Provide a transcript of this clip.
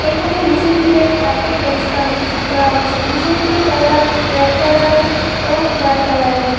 এখানে মেশিন দিয়ে কার্পেট পরিষ্কার হচ্ছে করা হচ্ছে মেশিনটির কালার রেড কালারের ও হোয়াইট কালারের।